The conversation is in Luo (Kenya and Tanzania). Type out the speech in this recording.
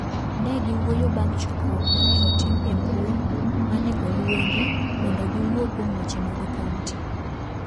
Ne giwuoyo bang’ chokruok ma ne otim e mbui ma ne oluingi mondo giwuo kuom weche mag kaonti.